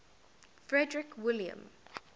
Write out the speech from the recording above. frederick william